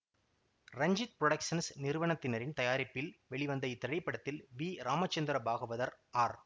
Ranjith productions நிறுவனத்தினரின் தயாரிப்பில் வெளிவந்த இத்திரைப்படத்தில் வி ராமச்சந்திர பாகவதர் ஆர்